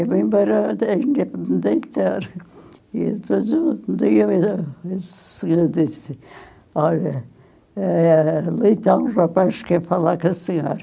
E eu me perguntei, acho que e depois um dia disse, olha, eh então os rapazes quer falar com a senhora.